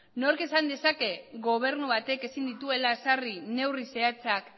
nork esan dezake gobernu batek ezin dituela ezarri neurri zehatzak